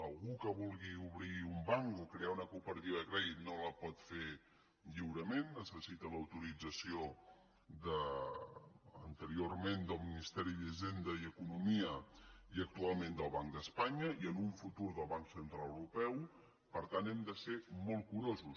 algú que vulgui obrir un banc o crear una cooperativa de crèdit no la pot fer lliurement necessita l’autorització anteriorment del ministeri d’hisenda i economia i actualment del banc d’espanya i en un futur del banc central europeu per tant hem de ser molt curosos